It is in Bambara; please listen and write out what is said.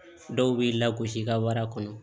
Dɔw b'i lagosi i ka wara kɔnɔ